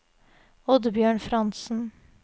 Oddbjørn Frantzen